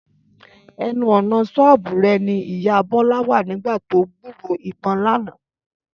Ẹnu ọ̀nà ṣọ́ọ̀bù rẹ̀ ni ìyá Bọ́lá wà nígbà tó gbúròó ìbọn lánàá